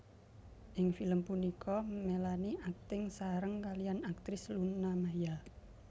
Ing film punika Melanie akting sareng kaliyan aktris Luna Maya